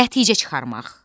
Nəticə çıxarmaq.